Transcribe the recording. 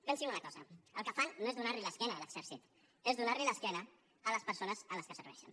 pensin una cosa el que fan no és donar li l’esquena a l’exèrcit és donar li l’esquena a les persones a què serveixen